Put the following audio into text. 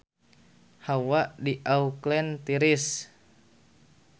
Hawa di Auckland tiris